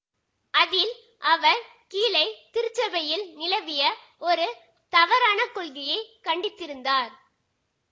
அதில் அவர் கீழை திருச்சபையில் நிலவிய ஒரு தவறான கொள்கையை கண்டித்திருந்தார்